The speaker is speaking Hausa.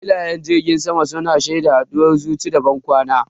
Filayen jiragen sama su na shaida haduwar zuci da bankwana.